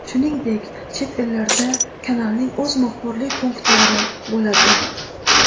Shuningdek, chet ellarda kanalning o‘z muxbirlik punktlari bo‘ladi.